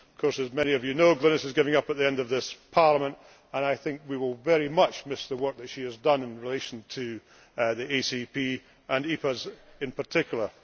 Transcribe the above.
As many of you know, Glenys is giving up at the end of this Parliament, and I think we will very much miss the work that she has done in relation to the ACP, and EPAs in particular.